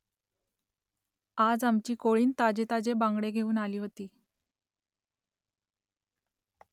आज आमची कोळीण ताजे ताजे बांगडे घेऊन आली होती